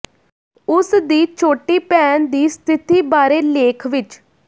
ਉਸ ਦੀ ਛੋਟੀ ਭੈਣ ਦੀ ਸਥਿਤੀ ਬਾਰੇ ਲੇਖ ਵਿਚ